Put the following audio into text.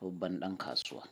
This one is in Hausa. babban ɗan kasuwa.